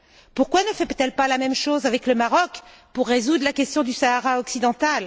Pourquoi ne fait elle pas la même chose avec le Maroc pour résoudre la question du Sahara occidental?